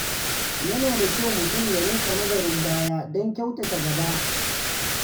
Yana da kyau mutum ya riƙa nazarin baya don kyautata gaba.